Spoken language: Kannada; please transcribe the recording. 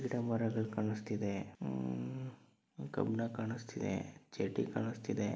ಗಿಡ ಮರಗಳ ಕಾಣಿಸ್ತಿದೆ ಆ ಕೆಬ್ಬಣ ಕಾಣಿಸ್ತಿದೆ ಚಡ್ಡಿ ಕಾಣಿಸುತ್ತಿದೆ.